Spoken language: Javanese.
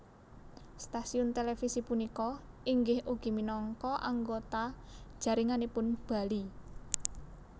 Stasiun televisi punika inggih ugi minangka anggota jaringanipun Bali